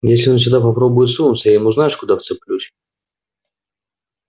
если он сюда попробует сунуться я ему знаешь куда вцеплюсь